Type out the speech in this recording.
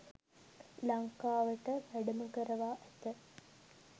ලංකාවට වැඩම කරවා ඇත.